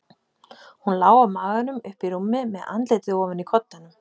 Hún lá á maganum uppi í rúmi, með andlitið ofan í koddanum.